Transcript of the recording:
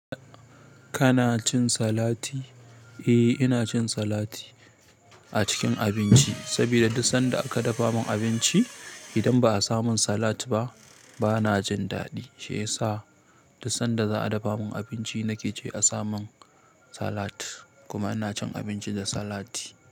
Kana cin salati? Eh, ina cin salati a cikin abinci. Saboda duk sanda aka dafa min abinci, idan ba a samin salat ba, bana jin daɗi. Shi ya sa duk sanda za a dafa min abinci, na ke ce a samin salat. Kuma ina cin abinci da salati.